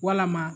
Walama